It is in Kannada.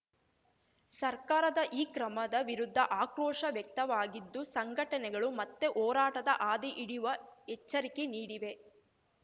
ಸರ್ಕಾರದ ಈ ಕ್ರಮದ ವಿರುದ್ಧ ಆಕ್ರೋಶ ವ್ಯಕ್ತವಾಗಿದ್ದು ಸಂಘಟನೆಗಳು ಮತ್ತೆ ಹೋರಾಟದ ಹಾದಿ ಹಿಡಿಯುವ ಎಚ್ಚರಿಕೆ ನೀಡಿವೆ